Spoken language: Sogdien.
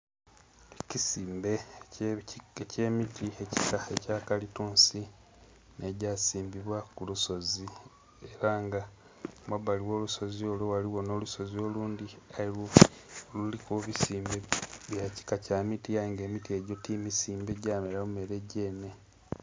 Ekisimbe ekye miti ekika ekya kalitunsi nhe gya simbinwa ku lusozi era nga kumabali gho lusozi olwo ghaligho nho lusozi olundhi nga aye kiliku ebizimbe bya kika kya miti aye nga ti misimbe gyamera bumere gyenhe.